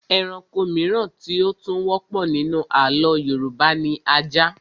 Ẹranko mìíràn tí ó tún wọ́pọ̀ nínú àlọ́ Yorùbá ni ajá